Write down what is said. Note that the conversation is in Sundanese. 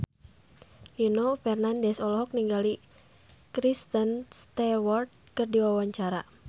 Nino Fernandez olohok ningali Kristen Stewart keur diwawancara